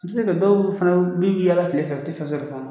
Bi se ka kɛ dɔw fana bɛ yaala tile fɛ o tɛfɛn sɔrɔ